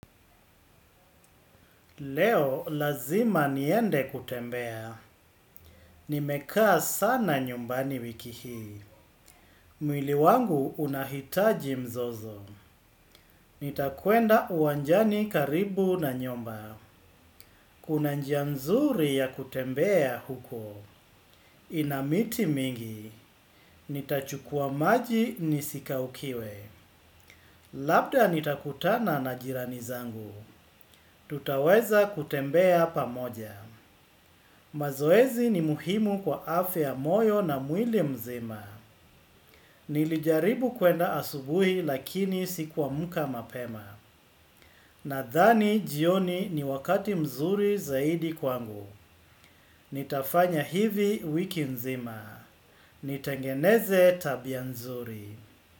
Leo lazima niende kutembea. Nimekaa sana nyumbani wiki hii. Mwili wangu unahitaji mzozo. Nitakwenda uwanjani karibu na nyumba. Kuna njia nzuri ya kutembea huko. Ina miti mingi. Nitachukua maji nisikaukiwe. Labda nitakutana na jirani zangu. Tutaweza kutembea pamoja. Mazoezi ni muhimu kwa afe ya moyo na mwili mzima. Nilijaribu kwenda asubui lakini sikuamka mapema. Nadhani jioni ni wakati mzuri zaidi kwangu. Nitafanya hivi wiki nzima. Nitengeneze tabia nzuri.